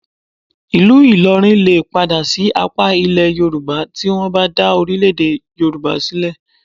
Ìlú Ìlọrin lè padà sí apá Ilẹ̀ Yorùbá tí wọ́n bá dá orílẹ̀-èdè Yorùbá sílẹ̀